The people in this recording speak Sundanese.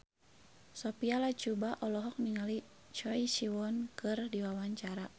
Sophia Latjuba olohok ningali Choi Siwon keur diwawancara